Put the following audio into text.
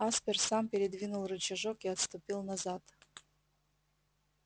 аспер сам передвинул рычажок и отступил назад